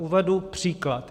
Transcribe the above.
Uvedu příklad.